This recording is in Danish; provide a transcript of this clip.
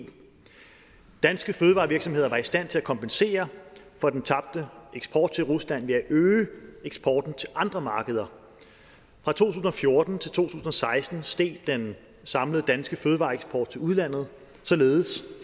danske fødevarevirksomheder var i stand til at kompensere for den tabte eksport til rusland ved at øge eksporten til andre markeder fra to tusind og fjorten til to tusind og seksten steg den samlede danske fødevareeksport til udlandet således